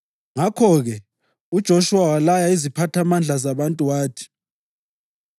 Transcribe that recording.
Ngakho-ke uJoshuwa walaya iziphathamandla zabantu wathi: